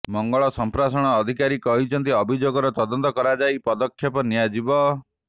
ମଙ୍ଗଳ ସମ୍ପ୍ରସାରଣ ଅଧିକାରୀ କହିଛନ୍ତି ଅଭିଯୋଗର ତଦନ୍ତ କରାଯାଇ ପଦକ୍ଷେପ ନିଆଯିବ